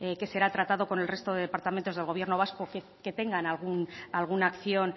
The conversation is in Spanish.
que será tratado con el resto de departamentos del gobierno vasco que tengan alguna acción